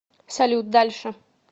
салют дальше